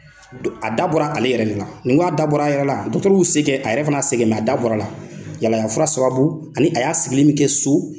A da bɔra ale yɛrɛ de la, ni k'a dabɔra a yɛrɛ la, se kɛ, a yɛrɛ fana y'a se kɛ, a dabɔra la, yala yala fura sababu ani a y'a sigili min kɛ so